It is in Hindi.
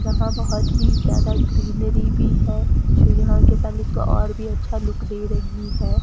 यहां बोहोत ही ज्यादा ग्रीनरी भी है जो यहां के पैलेस को और भी अच्छा लुक दे रही है।